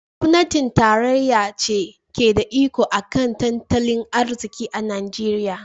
Gwamnatin tarayya ce ke da iko a kan tattalin arziki a Najeriya.